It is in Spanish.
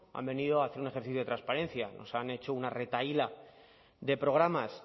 han venido a hacer un ejercicio de transparencia nos han hecho una retahíla de programas